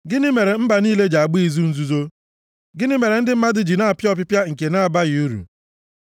Gịnị mere mba niile ji agba izu nzuzo? + 2:1 Ya bụ, ịgbakọta nʼihi izu ọjọọ Gịnị mere ndị mmadụ ji na-apịa ọpịpịa nke na-abaghị uru?